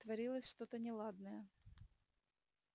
творилось что-то неладное